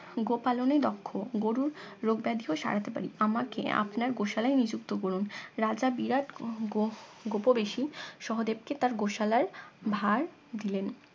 গোপালনে দক্ষ গরুর রোগ ব্যাধি ও সারাতে পারি আমাকে আপনার গোশালায় নিযুক্ত করুন রাজা বিরাট গুপবেশি সহদেব কে তার গোশালার ভার দিলেন